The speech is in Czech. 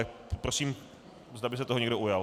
Tak prosím, zda by se toho někdo ujal.